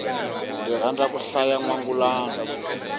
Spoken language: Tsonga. ndzi rhandza ku hlaya nwangulano